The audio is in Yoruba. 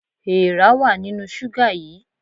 Èèrà wà nínú ṣúgà yìí.